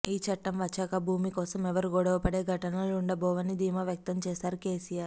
ఈ చట్టం వచ్చాక భూమి కోసం ఎవరూ గొడవ పడే ఘటనలు ఉండబోవని ధీమా వ్యక్తం చేశారు కెసిఆర్